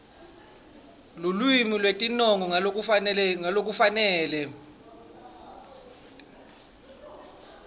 lulwimi lwetinongo ngalokufanele